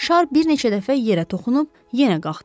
Şar bir neçə dəfə yerə toxunub yenə qalxdı.